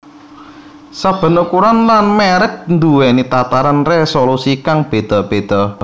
Saben ukuran lan mèrek duwèni tataran résolusi kang béda béda